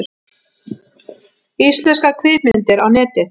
Íslenskar kvikmyndir á Netið